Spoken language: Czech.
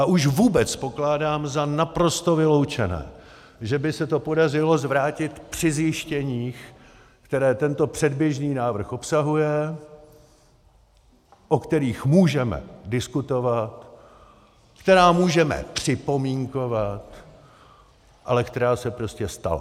A už vůbec pokládám za naprosto vyloučené, že by se to podařilo zvrátit při zjištěních, která tento předběžný návrh obsahuje, o kterých můžeme diskutovat, která můžeme připomínkovat, ale která se prostě stala.